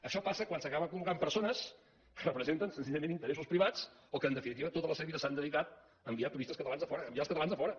això passa quan s’acaben col·locant persones que representen senzillament interessos privats o que en definitiva tota la seva vida s’han dedicat a enviar turistes catalans a fora a enviar els catalans a fora